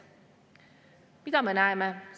Mida me näeme?